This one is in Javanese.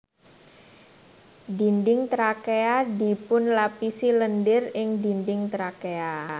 Dinding trakea dipunlapisi lendir ing dinding trakea